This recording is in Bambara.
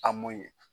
A mun ye